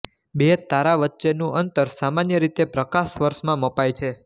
બે તારા વચેનું અંતર સામન્ય રીતે પ્રકાશવર્ષ માં મપાય છે